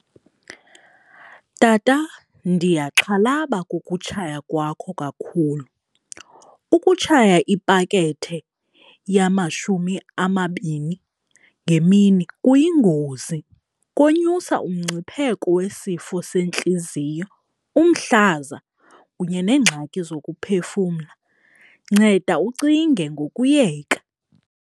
Tata, ndiyaxhalaba kukutshaya kwakho kakhulu, ukutshaya ipakethe yamashumi amabini ngemini kuyingozi, konyusa umngcipheko wesifo sentliziyo, umhlaza kunye neengxaki zokuphefumla. Nceda ucinge ngokuyeka.